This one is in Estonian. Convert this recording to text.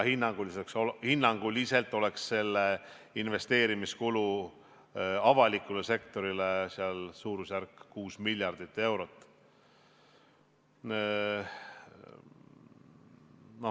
Ja hinnanguliselt oleks investeerimiskulu avaliku sektori puhul suurusjärgus 6 miljardit eurot.